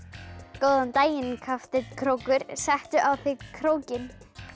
góðan daginn krókur settu á þig krókinn